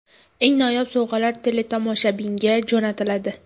Eng noyob sovg‘alar teletomoshabinga jo‘natiladi.